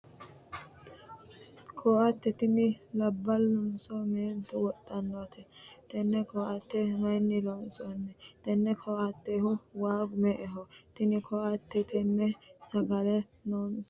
koatte tini labbalunso meentu wodhannote? tenne koatte mayiinni loonsooni? tenne koattehu waagu me'eho? tini koatte tenne sagale loosannohu ayeeti ?